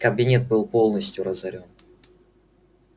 кабинет был полностью разорён